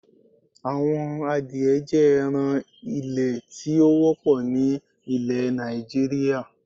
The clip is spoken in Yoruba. Awọn àdìẹ̀ jẹ́ ẹ̀ràn ilẹ̀ tí o wọ̀pọ̀ ní awọn ilẹ̀ Nàìjíríà